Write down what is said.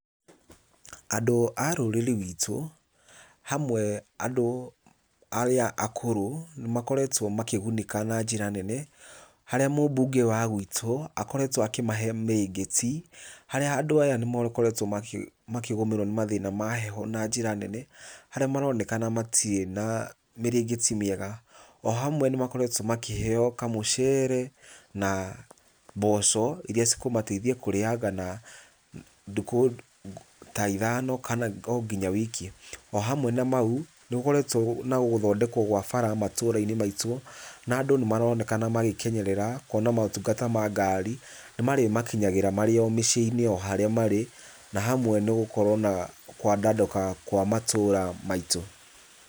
Andũ a rũrĩrĩ rwitũ, hamwe andũ arĩa akũrũ, nĩ makoretwo makĩgunĩka na njĩra nene, harĩa mũbunge wa gwitũ akoretwo akĩmahe mĩrĩngĩti, harĩa andũ aya nĩmakoretwo makĩgũmĩrwo nĩ mathĩna ma heho na njĩra nene, harĩa maroneka matirĩ na mĩrĩngĩti mĩega, o hamwe nĩ makoretwo makĩheo kamũcere, mboco iria cikumateitha kũrĩaga na ndũkũ ota ithano ona nginya wiki, o hamwe na mau nĩgũkoretwo na gũthondekwo kwa mabara matũra-inĩ maitũ na andũ nĩ maronekana magĩkenerera kuona motungata ma ngari nĩ marĩ makinyagĩra marĩ o mĩciĩ-inĩ o haria marĩ, na hamwe nĩ gũkorwo na kwandaduka kwa matũra maitũ.